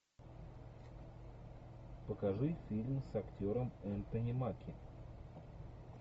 покажи фильм с актером энтони маки